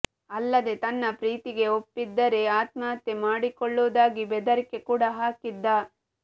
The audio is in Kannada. ಅಲ್ಲದೆ ತನ್ನ ಪ್ರೀತಿಗೆ ಒಪ್ದಿದ್ದರೆ ಆತ್ಮಹತ್ಯೆ ಮಾಡಿಕೊಳ್ಳುವುದಾಗಿ ಬೆದರಿಕೆ ಕೂಡಾ ಹಾಕಿದ್ದ